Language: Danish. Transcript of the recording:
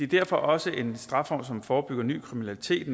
derfor også en strafform som forebygger ny kriminalitet